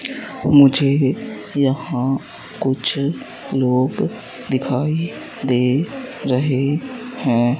मुझे यहां कुछ लोग दिखाई दे रहे हैं।